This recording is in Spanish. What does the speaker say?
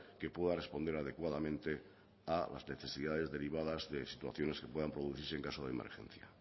que pueda responder adecuadamente a las necesidades derivadas de situaciones que puedan producirse en caso de emergencia